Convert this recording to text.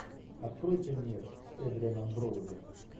открой фильмец с эдрианом броуди